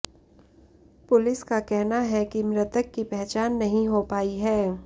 police का कहना है कि मृतक की पहचान नहीं हो पायी है